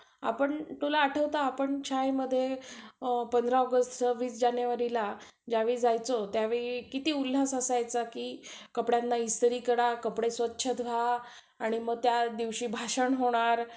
अजून हे पाहिजे सगळे विषय clear पाहिजे. सगळ्या विषयात पास पाहिजे आणि bank काय करते loan आपल्या account वर नाय येत, direct college च्या account मध्ये send करत असते आपले.